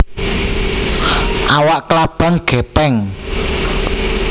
Awak klabang gèpèng